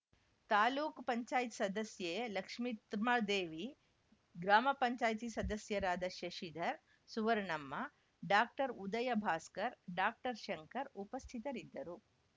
ತಾಲೂಕ್ ಪಂಚಾಯತ್ ಸದಸ್ಯೆ ಲಕ್ಷಿತ್ರ್ಮೕಳ ದೇವಿ ಗ್ರಾಮ ಪಂಚಾಯತಿ ಸದಸ್ಯರಾದ ಶಶಿಧರ್‌ ಸುವರ್ಣಮ್ಮಡಾಕ್ಟರ್ ಉದಯಭಾಸ್ಕರ್‌ ಡಾಕ್ಟರ್ಶಂಕರ್‌ ಉಪಸ್ಥಿತರಿದ್ದರು